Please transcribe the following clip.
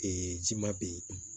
ji ma bɛ yen